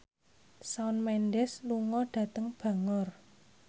Shawn Mendes lunga dhateng Bangor